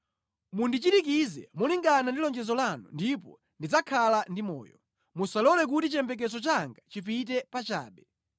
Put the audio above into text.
Mundichirikize molingana ndi lonjezo lanu, ndipo ndidzakhala ndi moyo; musalole kuti chiyembekezo changa chipite pachabe.